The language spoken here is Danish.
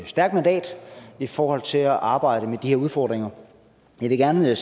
stærkt mandat i forhold til at arbejde med de her udfordringer jeg vil gerne